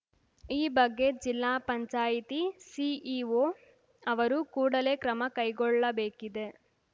ಈ ಬಗ್ಗೆ ಜಿಲ್ಲಾ ಪಂಚಾಯಿತಿ ಸಿಇಓ ಅವರು ಕೂಡಲೇ ಕ್ರಮ ಕೈಗೊಳ್ಳಬೇಕಿದೆ